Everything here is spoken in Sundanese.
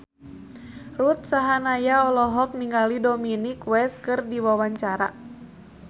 Ruth Sahanaya olohok ningali Dominic West keur diwawancara